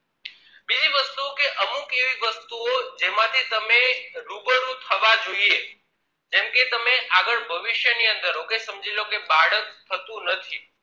અમુક એવી વસ્તુઓ જેમાંથી તમે રૂબરૂ થવા જોઈએ જેમ કે તમે આગળ ભવિષ્ય ની અંદર okay સમજી જો કે બાળક થતું નથી